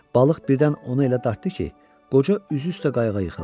Balıq birdən onu elə dartdı ki, qoca üzü üstə qayığa yıxıldı.